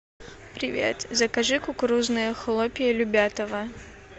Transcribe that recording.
привет закажи кукурузные хлопья любятово